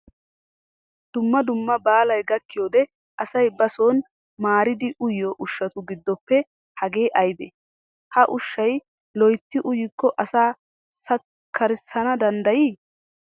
Dumma dumma baalay gakkiyoode asay ba son maaridi uyiyoo ushshatu giddoppe hage aybee? Ha ushshayi loyitti uykko asa sakkarissana danddayii?